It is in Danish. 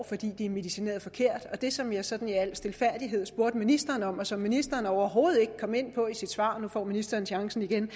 fordi de er medicineret forkert det som jeg sådan i al stilfærdighed spurgte ministeren om og som ministeren overhovedet ikke kom ind på i sit svar nu får ministeren chancen igen